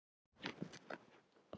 Undir þessum sama himni.